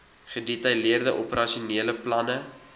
gedetailleerde operasionele planne